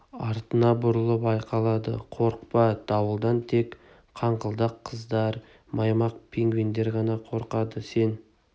артына бұрылып айқайлады қорықпа дауылдан тек қаңқылдақ қаздар маймақ пингвиндер ғана қорқады сен